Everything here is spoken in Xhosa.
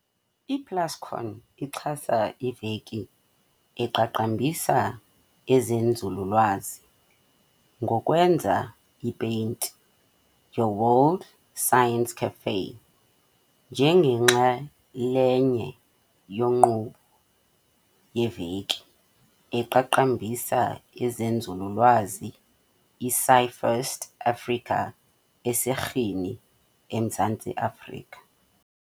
I-Plascon ixhasa iVeki eqaqambisa ezeNzululwazi ngokwenza iPaint Your World Science Café njengenxalenye yenkqubo yeVeki eqaqambisa ezeNzululwazi iScifest Africa eseRhini, eMzantsi Afrika.